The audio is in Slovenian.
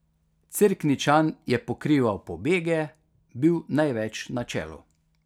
Cerkničan je pokrival pobege, bil največ na čelu.